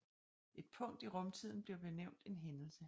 Et punkt i rumtiden bliver benævnt en hændelse